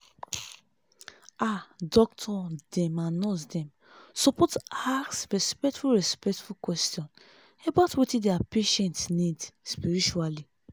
ah doctor dem and nurse dem supose ask respectful respectful question about wetin their patients need spiritually